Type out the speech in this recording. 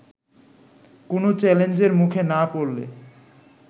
কোনো চ্যালেঞ্জের মুখে না পড়লে